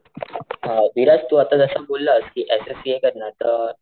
अ विराज आता जस बोललास कि एस एस सी ए करणार तर,